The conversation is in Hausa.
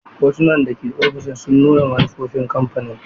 Hotunan da ke ofishin sun nuna manufofin kamfanin.